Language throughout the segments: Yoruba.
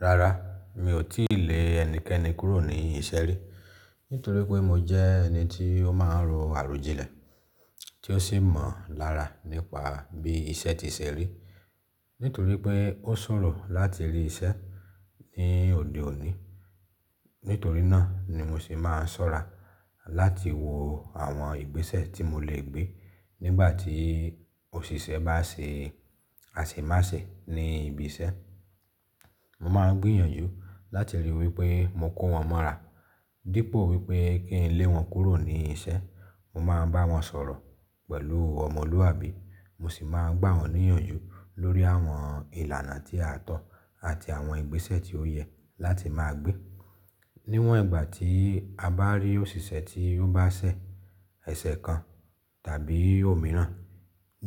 Rárá, mi ò tíì lé ẹnikẹ́ni kúrò ní iṣẹ́ rí. Nítorí pé mo jẹ́ ẹni tí ó máa ń ro àròjinlẹ̀, tí ó sì mọ̀ lára nípa bí iṣẹ́ ti ṣe rí. Nítorí pé ó ṣòro láti rí iṣẹ́ ní òde òní. Nítorí náà ni mo ṣe máa ń ṣọ́ra láti wo àwọn ìgbésẹ̀ tí mo lè gbé nígbà tí òṣìṣẹ́ bá ṣe àsè má ṣe ní ibi iṣẹ́. Mo máa ń gbìyànjú láti ríi wípé mo kó wọn mọ́ra dípò wípé kí n lé wọn kúrò ní iṣẹ́. Mo máa ń bá wọn sọ̀rọ̀ pẹ̀lú ọmọlúwàbí, mo sì máa ń gbà wọ́n níyànjú lórí àwọn ìlànà tí a tọ́ àti àwọn ìgbésẹ̀ tí ó yẹ láti máa gbé. Níwọ́n ìgbà tí a bá rí òṣìṣẹ́ tí ó bá ṣẹ̀ ẹsẹ̀ kan tàbí òmíràn,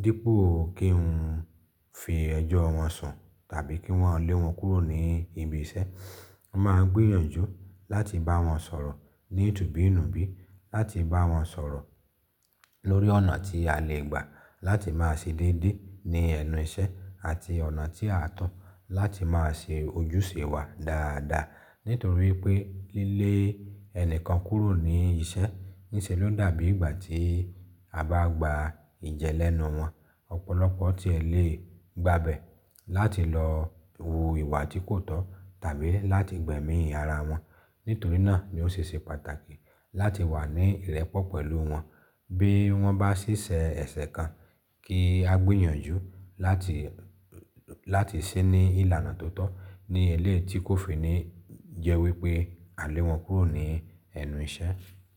dípò kí n fi ẹjọ́ wọn sùn tàbí kí won lé wọn kúrò ní ibi iṣẹ́, mo máa ń gbìyànjú láti bá wọn sọ̀rọ̀ ní ìtubú ìnùbí, láti bá wọn sọ̀rọ̀ lórí ọ̀nà tí a lè gbà láti máa ṣe déédé ní ẹnu iṣẹ́ àti ọ̀nà tí à ń tọ́ láti máa ṣe ojúṣe wa dáadáa. Nítorí pé lile ẹni kan kúrò ní iṣẹ́ níṣe ló dàbí ìgbà tí a bá gba ìjẹ lẹ́nu wọn. Ọ̀pọ̀lọpọ̀ tí ẹ lè gbàbẹ́ láti lọ wu ìwà tí kò tọ́ tàbí láti gbẹ̀mí ara wọn. Nítorí náà ni ó ṣe ṣe pàtàkì láti wà ní ìrẹ́pọ̀ pẹ̀lú wọn bí wọ́n bá ṣiṣe ẹsẹ̀ kan kí a gbìyànjú láti, láti ṣí ní ìlànà tó tọ́ ní eléyii tí kò fi ní jẹ́ wípé à lé wọn kúrò ní ẹnu iṣẹ́.